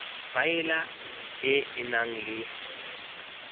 faela e e nang le